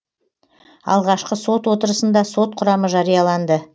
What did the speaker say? алғашқы сот отырысында сот құрамы жарияланды